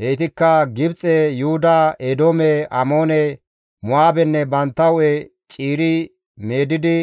Heytikka Gibxe, Yuhuda, Eedoome, Amoone, Mo7aabenne bantta hu7e ciiri meedidi